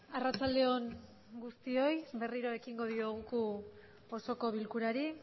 arratsaldeon guztioi berriro ekingo diogu osoko bilkurari